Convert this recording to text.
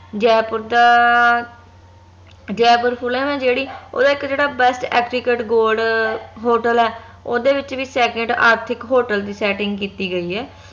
ਜੈਪੁਰ ਦਾ ਜੈਪੁਰ ਪੁਲ ਨਾ ਜੇਹੜੀ ਓਹ ਦਾ ਇਕ ਜਿਹੜਾ best gold hotel ਆ ਓਹਦੇ ਵਿਚ ਵੀ ਆਰਥਿਕ ਹੋਟਲ ਦੀ setting ਕਿੱਤੀ ਗਯੀ ਆ